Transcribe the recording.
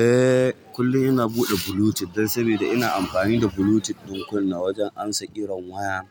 Eh, kullum ina buɗe Bluetooth dan sabida ina amfani da Bluetooth ɗin kunna wajen ansa ƙiran waya.